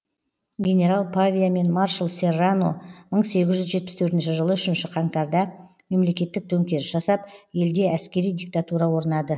генерал павия мен маршал серрано мың сегіз жүз жетпіс төртінші жылы үшінші қаңтарда мемлекеттік төңкеріс жасап елде әскери диктатура орнады